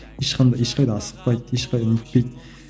ешқандай ешқайда асықпайды не етпейді